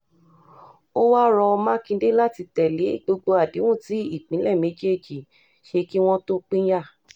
ó wá rọ mákindé láti tẹ̀lé gbogbo àdéhùn tí ìpínlẹ̀ méjèèjì ṣe kí wọ́n tó pínyà